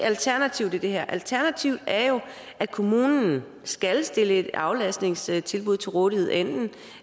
alternativet til det her alternativet er jo at kommunen skal stille et aflastningstilbud til rådighed enten